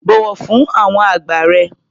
Bọ̀wọ̀ fún àwọn àgbà rẹ.